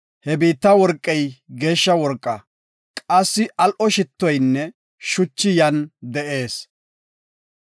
He biitta worqey geeshsha worqa. Qassi al7o shittoynne shuchi yan de7ees.